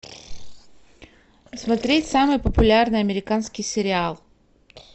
смотреть самый популярный американский сериал